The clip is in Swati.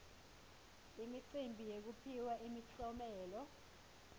imicimbi yekuphiwa imiklomelo